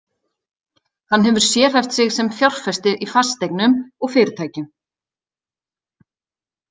Hann hefur sérhæft sig sem fjárfestir í fasteignum og fyrirtækjum.